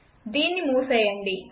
దీన్ని మూసేయండి